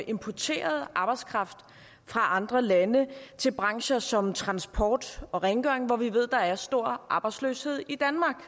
importerede arbejdskraft fra andre lande til brancher som transport og rengøring hvor vi ved der er stor arbejdsløshed i